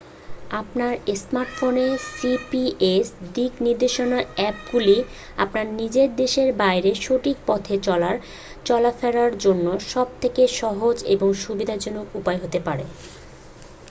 আপনার স্মার্টফোনের জিপিএস দিক নির্দেশক অ্যাপগুলি আপনার নিজের দেশের বাইরে সঠিক পথে চলা ফেলার জন্য সব থেকে সহজ এবং সুবিধাজনক উপায় হতে পারে